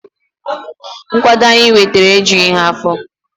Nkwado anyị nwetara ejughi afọ